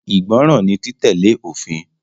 Ìgbọràn ni títẹ̀lé òfin.